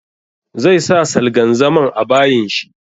Zai sa salgan zaman a bayin shi.